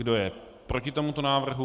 Kdo je proti tomuto návrhu?